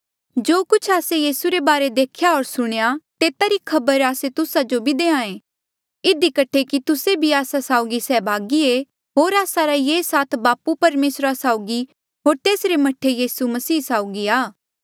जो कुछ आस्से यीसू रे बारे देख्या होर सुणेयां तेता री खबर आस्से तुस्सा जो भी देहां ऐें इधी कठे कि तुस्से भी आस्सा साउगी सैहभागी ऐें होर आस्सा रा ये साथ बापू परमेसरा साउगी होर तेसरे मह्ठा यीसू मसीह साउगी आ